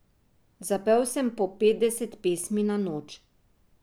Zapel sem po petdeset pesmi na noč.